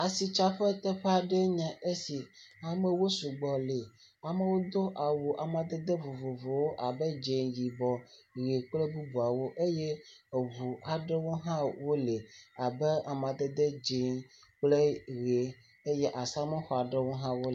Asitsaƒe teƒe aɖe enye esi, amewo sugbɔ le, amewo do awu amadede vovovowo abe dze, yibɔ, ʋe kple bubuawo eye eŋu aɖewo hã wole abe amadede dze kple ʋe eye asamuxɔ aɖewo hã…